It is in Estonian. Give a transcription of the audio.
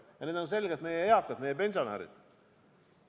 Ja need on selgelt meie eakad, meie pensionärid.